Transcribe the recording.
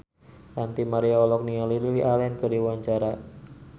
Ranty Maria olohok ningali Lily Allen keur diwawancara